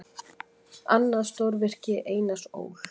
Annað stórvirki Einars Ól.